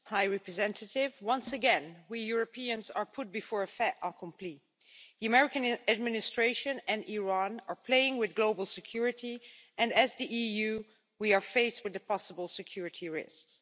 Mr President, once again we Europeans are put before a fait accompli The American administration and Iran are playing with global security and, as the EU, we are faced with the possible security risks.